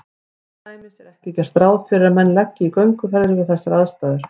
Til dæmis er ekki gert ráð fyrir að menn leggi í gönguferðir við þessar aðstæður.